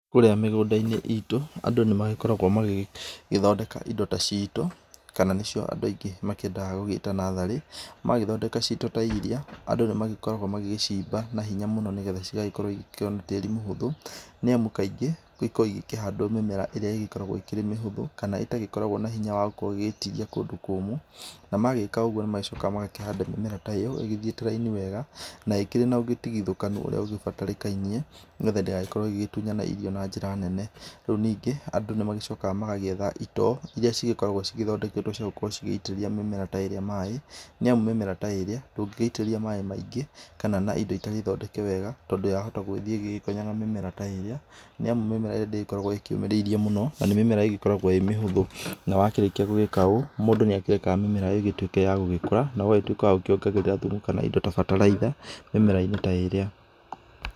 Kũrĩa mĩgũndainĩ itũ andũ nĩmagĩkoragwo magĩgĩthondeka indo ta ciitũ kana nĩcio andũ aingĩ makĩendaga gwĩta natharĩ, magĩthondeka ciitũ ta irĩa andũ nĩmagĩkoragwo magĩcimba na hinya mũno nĩgetha cigagĩkorwa cikĩona tĩri mũhũthũ nĩamu kaingĩ nĩgũkoragwo gũkĩhandwo mĩmera ĩrĩa ĩgĩkoragwo ĩrĩ mĩhũthũ, itagĩkoragwo na hinya wa gwĩtiria kũndũ kũmũ, namagĩka ũgũo nĩmagĩcokaga magakĩhanda mĩmera ta ĩyo ĩthiĩte raini wega na ĩkĩrĩ na ũtiginyaku utarikaine nĩgetha ndĩgagĩkorwo ĩgĩtunyana irio na njĩra nene, rĩũ ningĩ andũ nĩmagĩcokaga magakĩetha itoo, iria cigĩkoragwo cithondeketwe cigĩitĩrĩria mĩmera ta ĩrĩa maĩ, nĩamu mĩmera ta ĩrĩa ndũgĩgĩitĩrĩria maĩ maingĩ kana indo itarĩ thondeke wega tondo wahota gũthiĩ ũgonye mĩmera ta ĩrĩa nĩamu mĩmera ĩrĩa ndĩkoragwa yũmĩrĩire mũno na nĩmĩmera ĩgĩkoragwo ĩrĩmĩhũthũ, wakĩrĩkia gwĩka ũũ, mũndũ nĩarekaga mĩmera ĩtuĩke ya gũkũra na gũtũĩka wa gwokengerera thumu kana indo ta bataraitha mĩmerainĩ ta ĩrĩa.